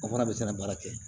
O fana bɛ sɛnɛ baara kɛ